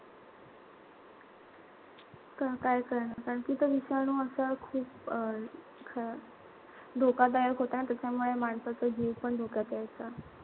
का काय करणार, कारण कि ते अं विषाणू असा खूप धोकादायक होता आणि त्याच्यामुळे माणसाचा जीव पण धोक्यात यायचा.